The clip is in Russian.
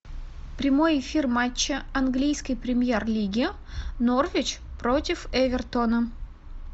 прямой эфир матча английской премьер лиги норвич против эвертона